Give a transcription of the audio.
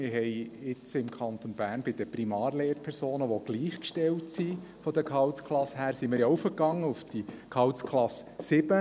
Wir sind jetzt im Kanton Bern bei den Primarlehrpersonen, die von der Gehaltsklasse her gleichgestellt sind, auf Gehaltsklasse 7 raufgegangen.